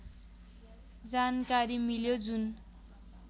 जानकारी मिल्यो जुन